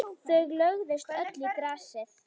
Þau lögðust öll í grasið.